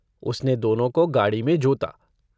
उसने दोनों को गाड़ी में जोता।